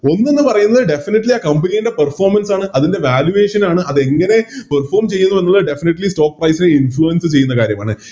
ഒന്നെന്ന് പറയുന്നത് Definitely ആ Company യുടെ Performance ആണ് അതിൻറെ Valuation ആണ് അതെങ്ങനെ Perform ചെയ്തു എന്നുള്ളത് Stock price നെ Influence ചെയ്യുന്ന കാര്യമാണ്